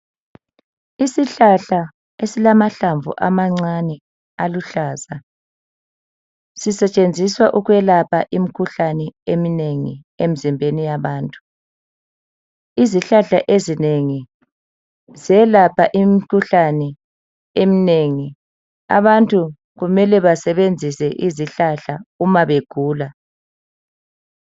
Isihlahla esilamahlamvu amancane aluhlaza sisetshenziswa ukwelapha imikhuhlane eminengi emzimbeni yabantu izihlahla ezinengi zelapha imikhuhlane eminengi abantu kumele basebenzise izihlahla uma begula.